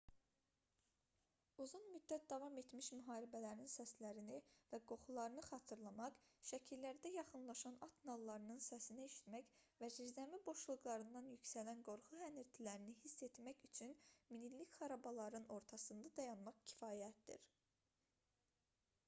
uzun müddət davam etmiş müharibələrin səslərini və qoxularını xatırlamaq səkilərdə yaxınlaşan at nallarının səsini eşitmək və zirzəmi boşluqlarından yüksələn qorxu hənirtilərini hiss etmək üçün minillik xarabalıqların ortasında dayanmaq kifayətdir